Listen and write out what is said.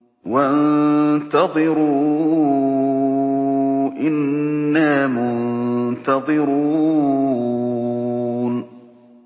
وَانتَظِرُوا إِنَّا مُنتَظِرُونَ